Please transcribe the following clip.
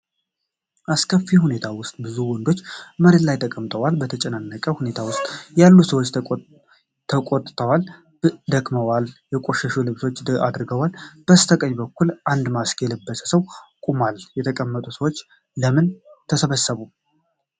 አስከፊ ሁኔታ ውስጥ ብዙ ወንዶች መሬት ላይ ተቀምጠዋል። በተጨናነቀ ሁኔታ ውስጥ ያሉ ሰዎች ተቆጥተዋል፣ ደክመዋል፣ የቆሸሹ ልብሶች አድርገዋል። በስተቀኝ በኩል አንድ ማስክ የለበሰ ሰው ቆሟል። የተቀመጡት ሰዎች ለምን ተሰበሰቡ?